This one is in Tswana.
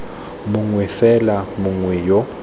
mongwe fela mongwe fela yo